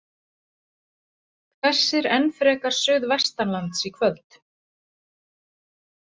Hvessir enn frekar suðvestanlands í kvöld